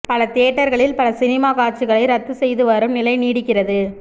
பல தியேட்டர்களில் பல சினிமா காட்சிகளை ரத்து செய்து வரும் நிலை நீடிக்கிறது